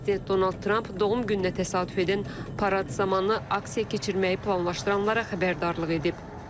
Prezident Donald Tramp doğum gününə təsadüf edən parad zamanı aksiya keçirməyi planlaşdıranlara xəbərdarlıq edib.